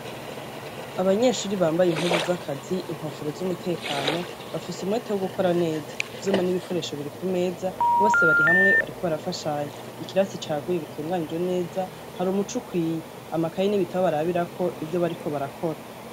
Abanyeshure bambaye impuzu z'akazi, inkofero z'umutekano, bafise umwete wo gukora neza. Ivyuma n'ikoresho biri ku meza, bose bari hamwe bariko barafashanya. Ikirasi cagutse gitunganijwe neza, hari umuco ukwiye, amakaye n'ibitabu barabirako ivyo bariko barakora.